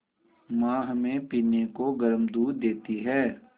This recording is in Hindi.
माँ हमें पीने को गर्म दूध देती हैं